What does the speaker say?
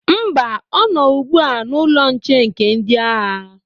Mba, ọ nọ ugbu a n'ụlọ nche nke ndị agha.